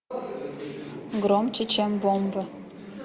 громче чем бомбы